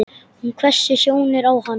Hún hvessir sjónir á hann.